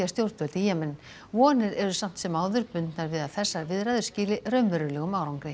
stjórnvöld í Jemen vonir eru samt sem áður bundnar við að þessar viðræður skili raunverulegum árangri